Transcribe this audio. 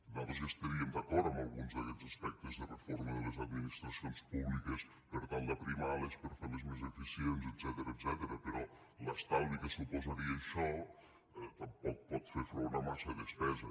nosaltres hi estaríem d’acord amb alguns d’aquests aspectes de reforma de les administracions públiques per tal d’aprimar les per fer les més eficients etcètera però l’estalvi que suposaria això tampoc pot fer front a massa despesa